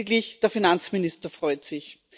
Lediglich der Finanzminister freut sich.